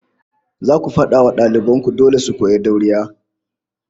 Zaku fada wa daliban ku dole su koyi dauriya